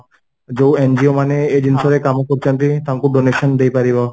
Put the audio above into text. ଯୋଉ NGO ମାନେ ଏଇ ଜିନ୍ସ ରେ କାମ କରୁଛନ୍ତି ତାଙ୍କୁ donation ଦେଇପାରିବ